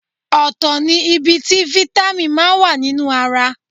Ọ̀tọ̀ ní ibi tí Fítámì máa wà nínú ara.